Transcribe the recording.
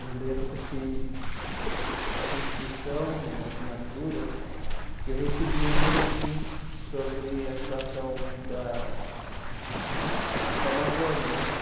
Eu lembro que eu fiz acho que inscrição uma assinatura e eu recebia um boletim sobre a situação da eh da Amazônia né.